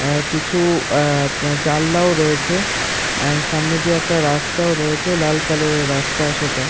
আহ কিছুআহ জানলাও রয়েছে আহ সামনে দিয়ে একটা রাস্তাও রয়েছে লাল কালার এর রাস্তা সেটা।